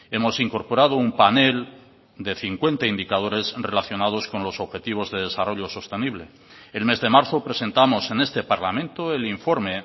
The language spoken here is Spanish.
hemos incorporado un panel de cincuenta indicadores relacionados con los objetivos de desarrollo sostenible el mes de marzo presentamos en este parlamento el informe